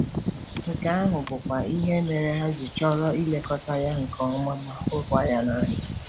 Nke ahụ bụkwa ihe mere ha ji chọrọ ilekọta ya nke ọma ma hụ ya n’anya.